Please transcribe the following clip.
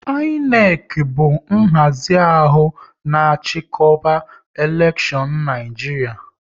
INEC bụ nhazi ahụ na chikoba elekshion n'Naijiria